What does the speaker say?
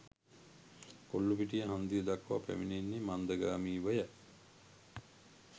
කොල්ලූපිටිය හන්දිය දක්වා පැමිණෙන්නේ මන්දගාමීවය.